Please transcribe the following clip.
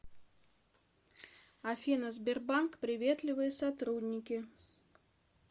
афина сбербанк приветливые сотрудники